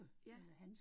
Ja